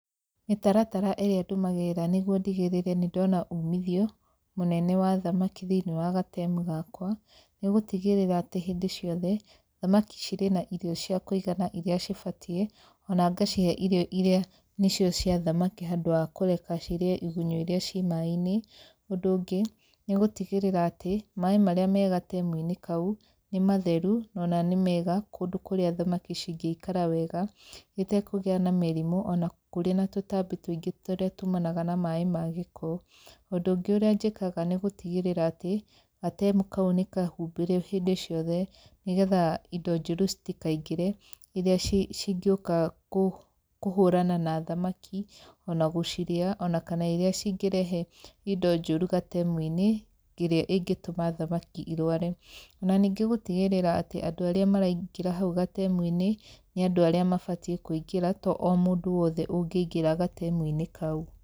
Mĩtaratara ĩrĩa ndũmagĩrĩra nĩguo ndigĩrĩre nĩ ndona umithio mũnene wa thamaki thĩiniĩ wa gatemu gakwa, nĩ gũtigĩrĩra atĩ hĩndĩ ciothe, thamaki cirĩ na irio cia kũigana irĩa cibatiĩ, ona ngacihe irio irĩa nĩcio cia thamaki handũ wa kũreka cirĩe igunyũ irĩa ci maĩ-inĩ. Ũndũ ũngĩ, nĩ gũtigĩrĩra atĩ, maĩ marĩa me gatemu-inĩ kau, nĩ matheru na nĩ mega kũndũ kũrĩa thamaki cingĩikara wega itekũgĩa na mĩrimũ ona kũrĩ na tũtambi tũingĩ tũrĩa tumanaga na maĩ ma gĩko. Ũndũ ũngĩ ũrĩa njĩkaga nĩ gũtigĩrĩra atĩ, gatemu kau nĩ kahumbire hĩndĩ ciothe, nĩ getha indo njũru citikaingĩre irĩa cingĩũka kũhũrana na thamaki ona gũcirĩa ona kana irĩa cingĩrehe indo njũru gatemu-inĩ ĩrĩa ĩngĩtũma thamaki irware. Ona ningĩ gũtigĩrĩra atĩ andũ arĩa maraingĩra hau gatemu-inĩ nĩ andũ arĩa mabatiĩ kũingĩra to o mũndũ wothe ũngĩingĩra gatemu-inĩ kau.